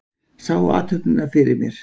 Sá athöfnina fyrir mér.